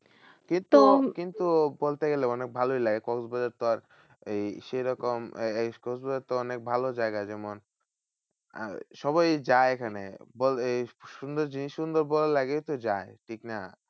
কিন্তু কিন্তু বলতে গেলে মানে ভালোই লাগে। কক্সবাজার তো আর এই সেরকম এ~ এই কক্সবাজার তো অনেক ভালো জায়গা। যেমন আহ সবাই যায় এখানে সুন্দর জিনিস সুন্দর বলে লাগেই তো যায়, ঠিক না?